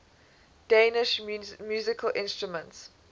danish musical instruments